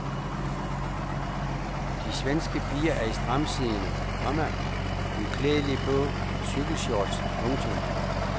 De svenske piger er i stramtsiddende, komma uklædelige blå cykelshorts. punktum